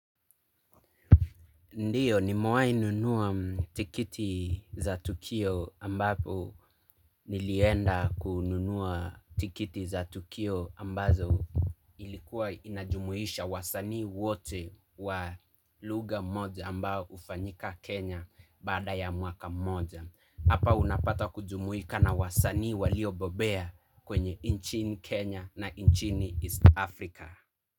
Ndiyo nimewai nunua tikiti za tukio ambapo nilienda kununua tikiti za tukio ambazo ilikuwa inajumuisha wasanii wote wa lugha moja ambao hufanyika Kenya baada ya mwaka mmoja. Hapa unapata kujumuika na wasanii waliobobea kwenye nchini Kenya na nchini East Africa.